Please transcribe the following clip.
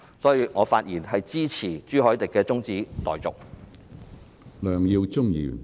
因此，我發言支持朱凱廸議員的中止待續議案。